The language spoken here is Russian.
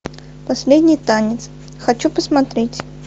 последний танец хочу посмотреть